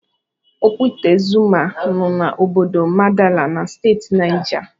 Okwute Zuma nọ na Obodo Madala nọ Steeti Nija.